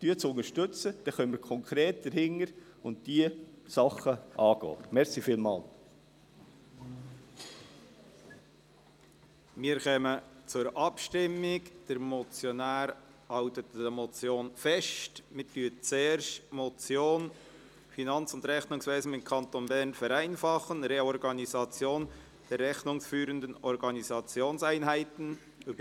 Wir stimmen zuerst über die Motion «Finanz- & Rechnungswesen im Kanton Bern vereinfachen: Reorganisation der rechnungsführenden Organisationseinheiten» ab.